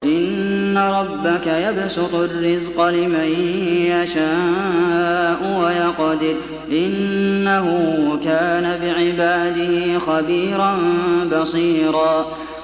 إِنَّ رَبَّكَ يَبْسُطُ الرِّزْقَ لِمَن يَشَاءُ وَيَقْدِرُ ۚ إِنَّهُ كَانَ بِعِبَادِهِ خَبِيرًا بَصِيرًا